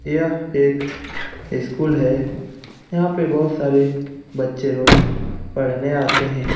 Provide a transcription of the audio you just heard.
यह एक स्कूल है। यहाँ पे बहुत सारे बच्चे रोज पढ़ने आते हैं।